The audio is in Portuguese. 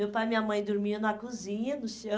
Meu pai e minha mãe dormiam na cozinha, no